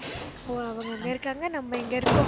ஓ அவங்க அங்க இருக்காங்க, நம்ம இங்க இருக்கோம்.